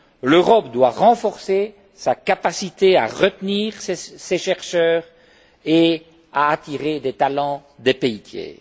L'Europe doit renforcer sa capacité à retenir ses chercheurs et à attirer des talents des pays tiers.